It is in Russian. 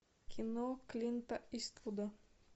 кино клинта иствуда